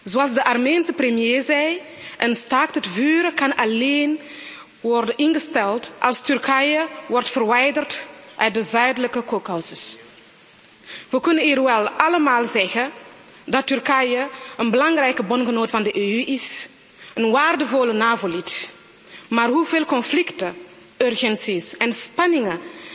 Zoals de Armeense premier zei een staakt het vuren kan alleen worden ingesteld als Turkije wordt verwijderd uit de zuidelijke Kaukasus. We kunnen hier wel allemaal zeggen dat Turkije een belangrijke bondgenoot van de EU en een waardevol NAVO lid is, maar hoeveel conflicten, urgenties en spanningen